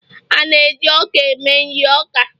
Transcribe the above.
a na-eji ọka eme nri oka